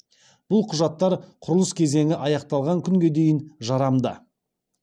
бұл құжаттар құрылыс кезеңі аяқталған күнге дейін жарамды